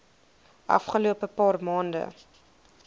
afgelope paar maande